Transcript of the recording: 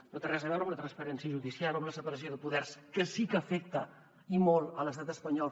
no té res a veure amb la transparència judicial o amb la separació de poders que sí que afecta i molt l’estat espanyol